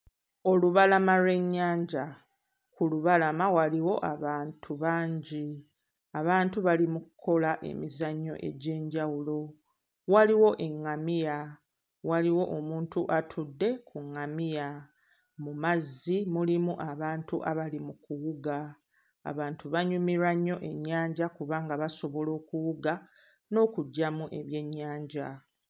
Olubalama lw'ennyanja. Ku lubalama waliwo abantu bangi, abantu bali mu kkola emizannyo egy'enjawulo, waliwo eŋŋamiya, waliwo omuntu atudde ku ŋŋamiya; mu mazzi mulimu abantu abali mu kuwuga. Abantu banyumirwa nnyo ennyanja kubanga basobola okuwuga n'okuggyamu ebyennyanja.